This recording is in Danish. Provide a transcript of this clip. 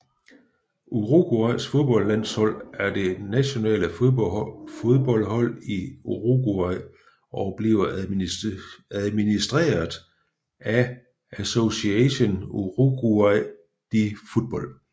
Uruguays fodboldlandshold er det nationale fodboldhold i Uruguay og bliver administreret af Asociación Uruguaya de Fútbol